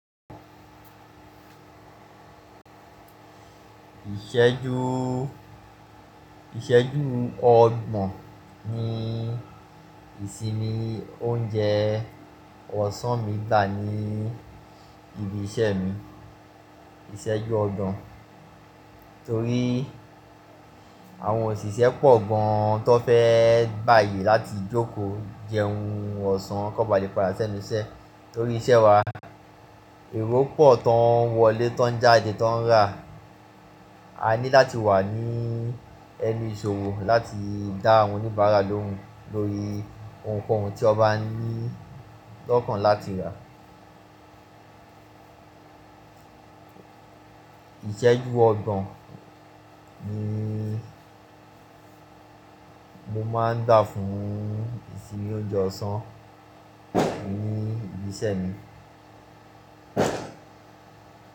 Ìṣẹ́jú, ìṣẹ́jú ọgbọ̀n ni ìsinmi oúnjẹ ọ̀sán mi gbà ní ibi iṣẹ́ mi. Ìṣẹ́jú ọgbọ̀n torí àwọn òṣìṣẹ́ pọ̀ gan tó fẹ́ gbaye láti jókòó jẹun ọ̀sán kón ba le padà sẹ́nu iṣẹ́. Torí iṣẹ́ wa, èrò pọ̀ tó ń wọlé, tó ń jáde, tó ń rà. A ní láti wà ní ẹnu ìṣòro láti dá àwọn oníbàárà lóhùn lórí ohunkóhun tí wọ́n bá ní lọ́kàn láti rà. Ìṣẹ́jú ọgbọ̀n ni mo máa ń dà fún ìsinmi oúnjẹ ọ̀sán ní ibi iṣẹ́ mi.